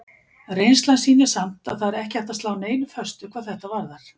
Reynslan sýnir samt að það er ekki hægt að slá neinu föstu hvað þetta varðar.